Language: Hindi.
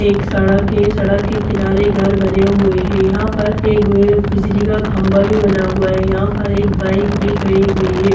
एक सड़क है | सड़क के किनारे घर बने हुए हैं | यहाँ पर एगो बिजली का खम्भा भी बना हुआ है | यहाँ पर एक बाईक भी खड़ी हुई है।